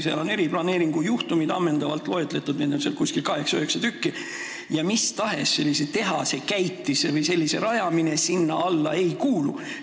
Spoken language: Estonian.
Seal on riigi eriplaneeringu juhtumid ammendavalt loetletud, neid on seal 8–9 tükki ja mis tahes tehase või käitise rajamine sinna alla ei kuulu.